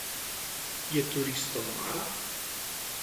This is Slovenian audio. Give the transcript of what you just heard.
Je turistom mar?